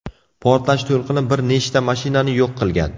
Portlash to‘lqini bir nechta mashinani yo‘q qilgan.